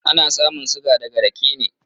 Ana samun suga daga raƙe ne.